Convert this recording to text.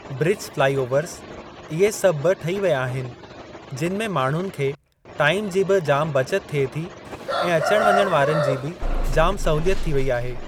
Bridge flyovers इहे सभु बि ठही विया आहिनि जिन में माण्हूनि खे टाइम जी बि जामु बचत थिए थी ऐं अचण वञण जी बि जामु सहूलियत थी वई आहे।